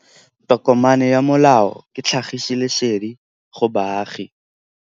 Tokomane ya molao ke tlhagisi lesedi go baagi.